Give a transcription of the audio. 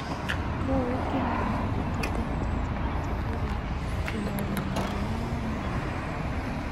rĩu gũkĩhana ũguo tũngĩhota atĩa gũtigĩrĩra twĩna ũgima mwega wa mwĩrĩ?